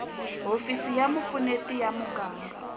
hofisi ya vupfuneti ya muganga